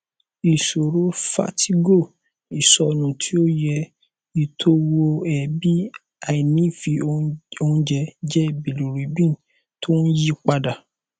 ìṣòro vertigo isonu ti oye itowoeebi àìnífẹ oúnjẹ jẹ bilirubin tó ń yí padà